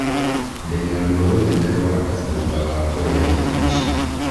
Ndĩna rũo rũnene rwa nda thutha wa kũrĩa irio ici.